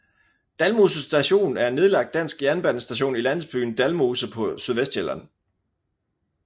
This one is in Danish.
Dalmose Station er en nedlagt dansk jernbanestation i landsbyen Dalmose på Sydvestsjælland